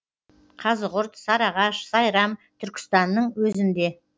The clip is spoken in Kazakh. қазығұрт сарыағаш сайрам түркістанның өзінде